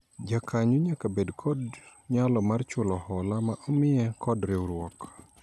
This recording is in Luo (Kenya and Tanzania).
Jakanyo nyaka bed kod nyalo mar chulo hola ma omiye kod riwruok